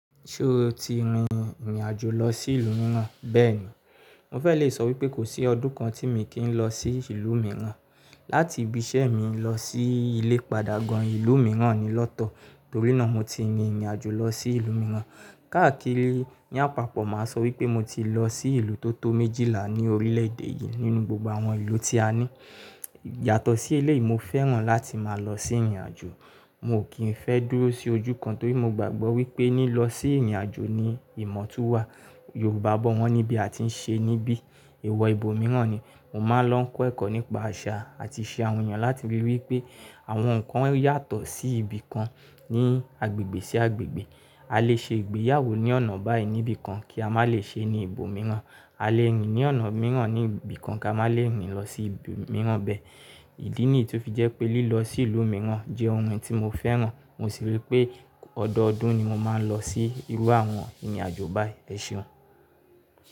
Ṣé o ti rin ìrìn àjò lọ sí ìlú mìíràn? Bẹ́ẹ̀ni, mo fẹ́ le sọ wípé kò sí ọdún kan tí mo kì í lọ sí ìlú mìíràn. Láti ibi iṣẹ́ mi lọ sí ilé ìpadà gan-an ìlú mìíràn ni lọ́tọ̀, torí náà mo ti rin ìrìn àjò lọ sí ìlú mìíràn. Káàkiri, ní àpapọ̀ máa sọ wípé mo ti lọ sí ìlú tó tó méjìlá ni orílẹ̀ èdè yìí nínú gbogbo àwọn ìlú tí a ní. Yàtọ̀ sí eléyìí, mo fẹ́ràn láti máa lọ sí ìrìn àjò. Mi ò kìn fẹ́ dúró sí ojú kan torí mo gbàgbọ́ wípé ní lọ sí ìrìn àjò ni ìmọ̀ tún wà. Yorùbá bọ́ wọn níbí àti ń ṣe níbí. Èèwọ̀ ibo mìíràn ni. Mo máa ń lọ ń kọ́ ẹ̀kọ́ nípa àṣà àti ìṣe àwọn èèyàn láti fi rí wípé àwọn nǹkan yàtọ̀ sí ibi kan ní agbègbè sí agbègbè. A lè ṣe ìgbéyàwó ní ọ̀nà báyìí níbí kan kí a má lè ṣe ní ibò mìíràn. A lè rìn ní ọ̀nà mìíràn ní ibi kan kí a má lè rìn lọ sí ibi mìíràn bẹ́ẹ̀. Ìdí nìyí tó fi jẹ́ pé lílọ sí ìlú mìíràn jẹ́ ohun tí mo fẹ́ràn. Mo sì rí pé ọdọọdún ni mo máa ń lọ sí irú àwọn ìrìn àjò báyìí. Ẹ ṣeun.